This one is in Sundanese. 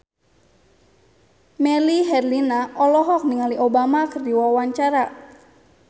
Melly Herlina olohok ningali Obama keur diwawancara